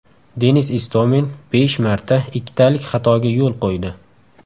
Denis Istomin besh marta ikkitalik xatoga yo‘l qo‘ydi.